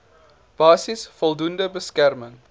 basis voldoende beskerming